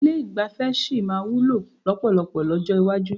Ilé ìgbafẹ́ sì máa wúlò lọ́pọ̀lọpọ̀ lọ́jọ́ iwájú.